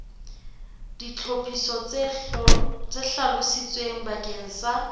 ditlhophiso tse hlalositsweng bakeng sa